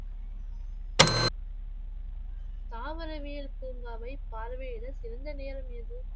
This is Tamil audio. தாவரவியல் பூங்காவை பார்வையிட சிறந்த நேரம் எது?